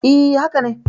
E, haka ne.